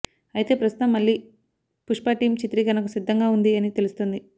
అయితే ప్రస్తుతం మళ్లీ పుష్ప టీమ్ చిత్రీకరణకు సిద్దంగా ఉంది అని తెలుస్తోంది